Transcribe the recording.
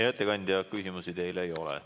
Hea ettekandja, küsimusi teile ei ole.